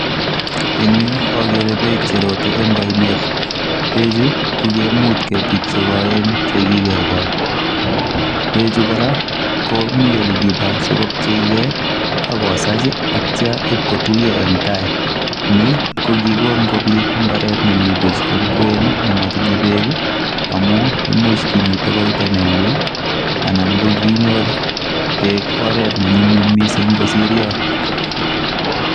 En yu akere bek cherote en oinet bek chu kokiimut ketik chekoyen che kike kol bek chu kora komi kora yelekiba sikopcheke ako sach atcha akotuyo en tai ni kokikol kobit mbaret nemi buch en kwen nimo tinye bek amun imuch kimiten yewuy ana kinyor bek oret ne nyumnyum mising kosir yon